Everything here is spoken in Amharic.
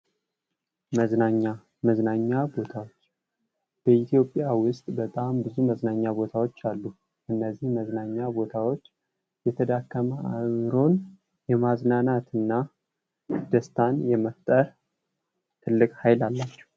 መዝናኛ መዝናኛ ቦታ በኢትዮጵያ ውስጥ በጣም ብዙ መዝናኛ ቦታዎች አሉ። እነዚህም መዝናኛ ቦታዎች የደከመ አዕምሮን የማዝናናትና ደስታን የመፍጠር ትልቅ ሀይል አላቸው።